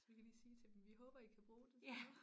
Vi kan lige sige til dem vi håber i kan bruge det til noget